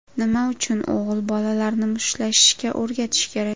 Nima uchun o‘g‘il bolalarni mushtlashishga o‘rgatish kerak?.